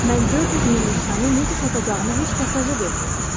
Mən 400 min nüsxəni necə satacağımı heç təsəvvür də etmirdim.